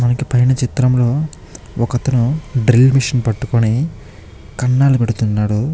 ఈ చిత్రంలోని ఒక అతను డ్రిల్లింగ్ మిషన్ పట్టుకొని కన్నాలు పెడుతూ ఉన్నాడు.